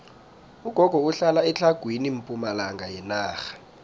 ugogo uhlala etlhagwini pumalanga yenarha